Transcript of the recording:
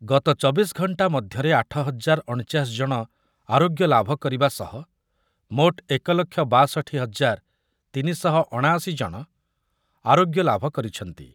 ଗତ ଚବିଶ ଘଣ୍ଟା ମଧ୍ୟରେ ଆଠ ହଜାର ଅଣଚାଶ ଜଣ ଆରୋଗ୍ୟ ଲାଭ କରିବା ସହ ମୋଟ ଏକ ଲକ୍ଷ ବାଷଠି ହଜାର ତିନି ଶହ ଅଣାଅଶି ଜଣ ଆରୋଗ୍ୟ ଲାଭ କରିଛନ୍ତି ।